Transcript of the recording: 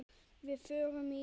Við fórum í